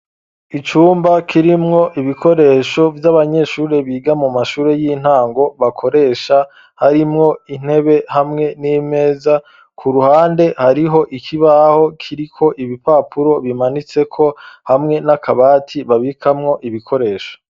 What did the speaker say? Icumba kirimwo ibikoresho vy'abanyeshuri biga mu mashuri y'intango bakoresha harimwo intebe hamwe n'imeza ku ruhande hariho ikibaho kiriko ibipapuro bimanitseko hamwe n'akabati babikamwo ibikoresho.